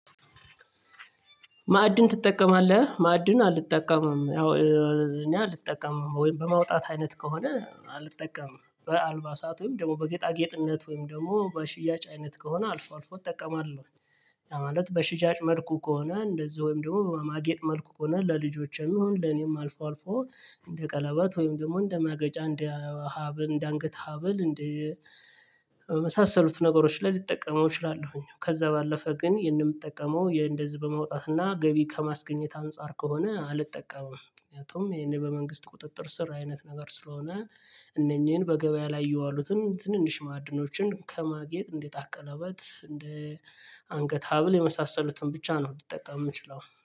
ማዕድን ትጠቀማለህ? ማዕድን አልጠቀምም። ያው እኔ አልጠቀምም ወይም በማውጣት አይነት ከሆነ አልጠቀምም በአልባሳት ወይም ደግሞ በጌጣጌጥነት ወይም ደግሞ በሽያጭ አይነት ከሆነ አልፎ አልፎ እጠቀማለሁ። ማለት በሽያጭ መልኩ ከሆነ እንደዛ ወይም ደግሞ በማጌጥ መልኩ ከሆነ ለልጆቼም ይሁን ለኔም አልፎ አልፎ እንደ ቀለበት ወይም ደግሞ እንደ ማገጫ እንደ ሀብል እንደ አንገት ሀብል እንደ የመሳሰሉት ነገሮች ላይ ሊጠቀመው እችላለሁኝ። ከዛ ባለፈ ግን ይሄንን የምጠቀመው የእንደዚህ በመውጣትና ገቢ ከማስገኘት አንፃር ከሆነ አልጠቀምም። ምክንያቱም ይሄን በመንግስት ቁጥጥር ስር አይነት ነገር ስለሆነ። እነኚህን በገበያ ላይ የዋሉትን ትንንሽ ማዕድኖችን ከማግኘት እንዴት አቀለበት እንደ አንገት ሀብል የመሳሰሉትን ብቻ ነው ልጠቀም የምችለው